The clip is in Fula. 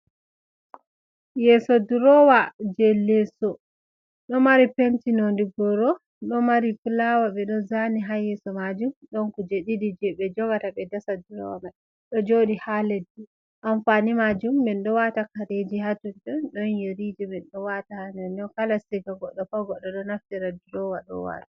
Yeso durowa je leso, ɗo mari penti nonde goro, ɗo mari pulawa ɓe ɗo zani ha yeso majuum don kuje ɗiɗii je be jogata ɓe dasa durowa mai, ɗo jodi ha leddi, amfani majuum ni ɗo wata kareji ha tonton don yirije min ɗo wata ha nder kala siga goddo pat goddo do naftira durowa ɗo wara.